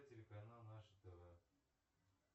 телеканал наше тв